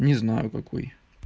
не знаю какой